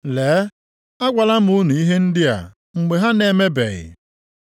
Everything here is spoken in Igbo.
Lee, agwala m unu ihe ndị a, mgbe ha na-emebeghị.